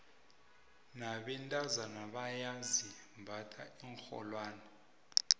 nabentazana bayazimbatha iinrholwane